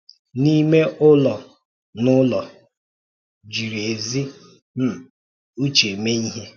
N’ímè ụlọ–n’ụlọ, jiri ézi um ụ́chè mee ihe.